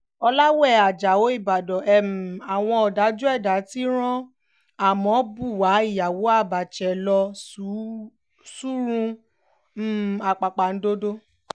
ọ̀làwé ajáò ìbàdàn um àwọn ọ̀dájú ẹ̀dá ti rán amọ buwa ìyàwó abache lọ sọ́run um àpàpàǹdodo